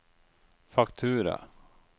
faktura